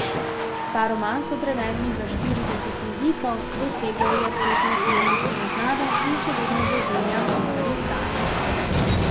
Ta roman so prevedli v štirideset jezikov, dosegel je petnajstmilijonsko naklado in še vedno doživlja nove izdaje.